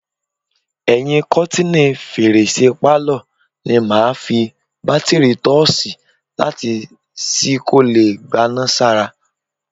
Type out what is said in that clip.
Ẹyin kọ́tíìnì fèrèsé pálọ̀ ni màá fi bátíìrì tọ́ọ́ṣí laìtì sí kó lè gbaná sára.